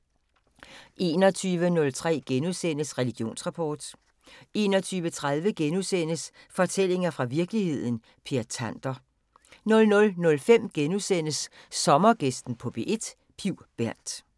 21:03: Religionsrapport * 21:30: Fortællinger fra virkeligheden – Per Tander * 00:05: Sommergæsten på P1: Piv Bernth *